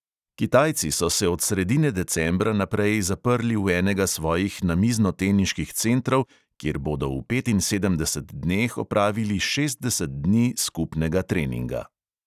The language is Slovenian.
Kitajci so se od sredine decembra naprej zaprli v enega svojih namiznoteniških centrov, kjer bodo v petinsedemdeset dneh opravili šestdeset dni skupnega treninga.